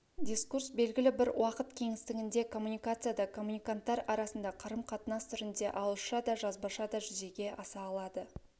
дискурс белгілі бір уақыт кеңістігінде коммуникацияда коммуниканттар арасында қарым-қатынас түрінде ауызша да жазбаша да жүзеге аса алады